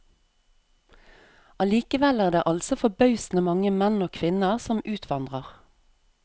Allikevel er det altså forbausende mange menn og kvinner som utvandrer.